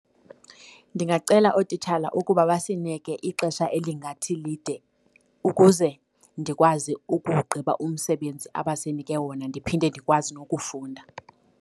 Ndingacela ootitshala ukuba basinike ixesha elingathi lide ukuze ndikwazi ukugqiba umsebenzi abasinike wona ndiphinde ndikwazi nokufunda.